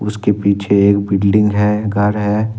उसके पीछे एक बिल्डिंग है घर है।